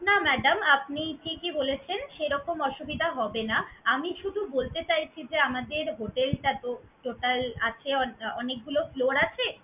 না madam আপনি ঠিকই বলেছেন সেরকম অসুবিধা হবে না। আমি শুধু বলতে চাইছি যে আমাদের hotel টা তো total আছে অনেকগুলো floor আছে।